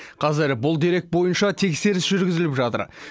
қазір бұл дерек бойынша тексеріс жүргізіліп жатыр